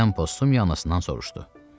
Birdən Postumiya anasından soruşdu: